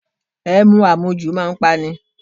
Ẹmu àmujù a máa pa ni.